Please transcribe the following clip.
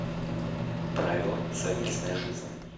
правила совместной жизни